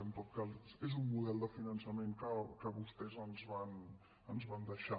en tot cas és un model de finançament que vostès ens van deixar